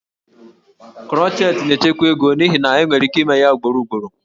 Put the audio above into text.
Crochet na-echekwa ego n'ihi na enwere ike ime ya ugboro ugboro